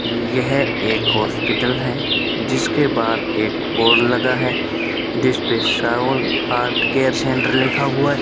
यह एक हॉस्पिटल है जिसके बाहर एक बोर्ड लगा है जिसपे साहुल हार्ट केयर सेंटर लिखा हुआ है।